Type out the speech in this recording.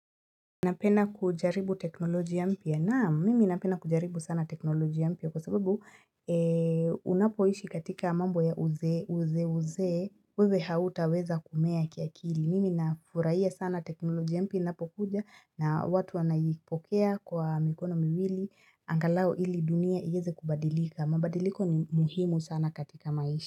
Napenda kujaribu teknolojia mpya naam mimi napenda kujaribu sana teknolojia mpya kwa sababu unapoishi katika mambo ya uze uze uzeeuzee wewe hautaweza kumea kiakili mimi nafuraia sana teknolojia mpya inapokuja na watu wanaipokea kwa mikono miwili angalau ili dunia ieze kubadilika mabadiliko ni muhimu sana katika maisha.